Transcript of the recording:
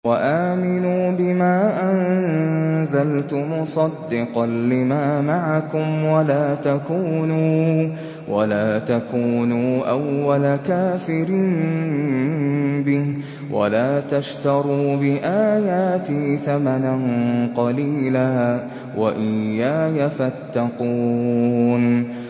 وَآمِنُوا بِمَا أَنزَلْتُ مُصَدِّقًا لِّمَا مَعَكُمْ وَلَا تَكُونُوا أَوَّلَ كَافِرٍ بِهِ ۖ وَلَا تَشْتَرُوا بِآيَاتِي ثَمَنًا قَلِيلًا وَإِيَّايَ فَاتَّقُونِ